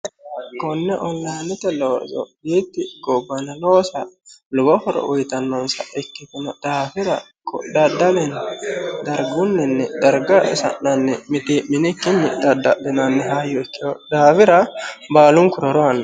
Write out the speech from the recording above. konne ollaanete loyitti gobaneloosa lubo horo woyitannonsa ikkitino dhaafira kodhaddalenni dargunninni darga isa'nanni mite'mini kinyi dhaddahinanni hayyo kkin daawira baalunkuroroanno